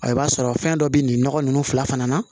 Ɔ i b'a sɔrɔ fɛn dɔ bɛ nin nɔgɔ ninnu fila fana na